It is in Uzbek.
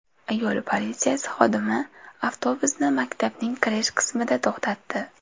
Yo‘l politsiyasi xodimi avtobusni maktabning kirish qismida to‘xtatdi.